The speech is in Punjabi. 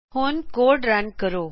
ਹੁਣ ਕੋਡ ਰਨ ਕਰੋਂ